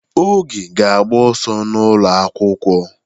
Oge ga-agba ọsọ n'ụlọ akwụkwọ.